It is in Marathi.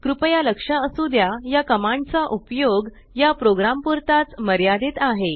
कृपया लक्ष असु द्या या कमांड चा उपयोग या प्रोग्राम पुरताच मर्यादित आहे